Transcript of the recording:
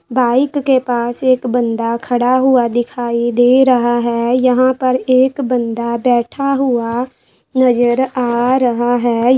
Bike के पास एक बंदा खड़ा हुआ दिखाई दे रहा है यहाँ पर एक बंदा बैठा हुआ नजर आ रहा है।